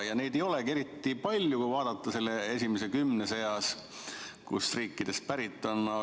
No neid ei olegi eriti palju, kui vaadata seda esimest kümmet, kust riikidest need inimesed pärit on.